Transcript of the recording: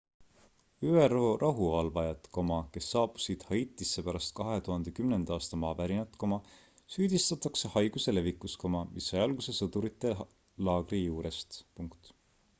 üro rahuvalvajaid kes saabusid haitisse pärast 2010 aasta maavärinat süüdistatakse haiguse levikus mis sai alguse sõdurite laagri juurest